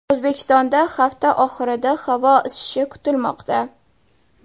O‘zbekistonda hafta oxirida havo isishi kutilmoqda.